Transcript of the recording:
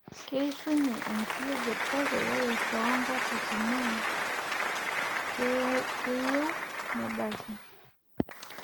keishunye enkiyioget kake ore too nkatitin naa keyieu nebaki.